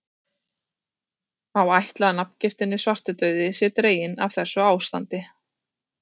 Má ætla að nafngiftin svartidauði sé dregin af þessu ástandi.